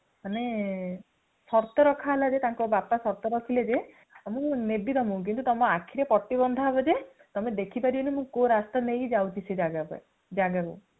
ମାନେ ଶର୍ତ ରଖାହେଲା ଜେ ତାଙ୍କ ବାପା ଶର୍ତ କରିଥିଲେ ଜେ ମୁ ନେବି ତୁମକୁ ; କିନ୍ତୁ ତୁମ ଆଖିରେ ପାଟି ବନ୍ଧା ହେବ ଜେ, ତମେ ଦେଖି ପାରିବନି ମୁ କୋଉ ରାସ୍ତାରେ ନେଇକି ଯାଉଛି ସେ ଜାଗା ପାଇଁ ଜାଗାକୁ |